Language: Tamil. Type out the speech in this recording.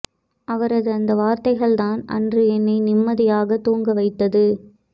அவரது அந்த வார்த்தைகள் தான் அன்று என்னை நிம்மதியாக தூங்க வைத்தது